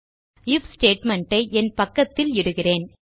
if statement ஐ என் பக்கத்தில் இடுகிறேன்